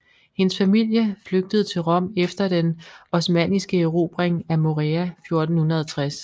Hendes familie flygtede til Rom efter den osmanniske erobring af Morea 1460